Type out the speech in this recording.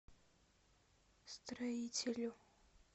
строителю